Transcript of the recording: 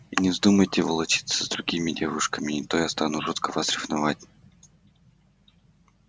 и не вздумайте волочиться за другими девушками не то я стану жутко вас ревновать